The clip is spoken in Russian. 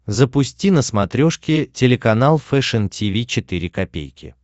запусти на смотрешке телеканал фэшн ти ви четыре ка